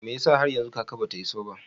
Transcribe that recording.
Mai yasa har yanzu kaka ba ta iso ba?